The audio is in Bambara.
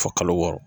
Fɔ kalo wɔɔrɔ